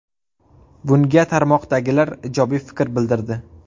Bunga tarmoqdagilar ijobiy fikr bildirdi.